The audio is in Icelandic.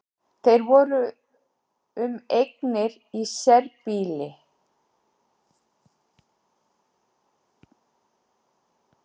Þeir voru um eignir í sérbýli